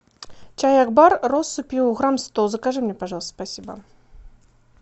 чай акбар россыпью грамм сто закажи мне пожалуйста спасибо